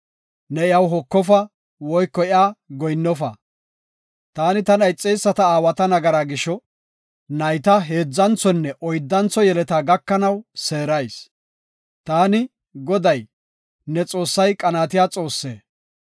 Ne iyaw hokofa woyko iyaw goyinnofa. Taani tana ixeyisata aawata nagaraa gisho, nayta heedzanthonne oyddantho yeletaa gakanaw seerayis. Taani, Goday, ne Xoossay qanaatiya Xoossaa.